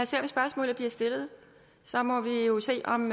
se om spørgsmålet bliver stillet så må vi jo se om